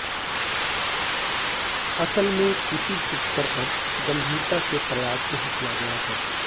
असल में किसी भी स्तर पर गंभीरता से प्रयास नहीं किया गया है